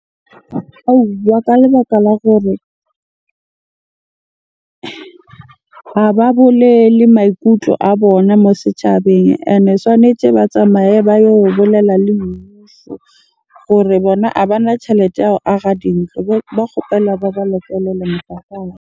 Ka lebaka la gore ha ba bolele maikutlo a bona mo setjhabeng. Ene tshwanetse ba tsamaye ba yo bolella le mmuso gore bona a bana tjhelete ya go aha dintlo. Ba kgopella ba ba .